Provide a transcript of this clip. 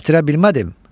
Gətirə bilmədim.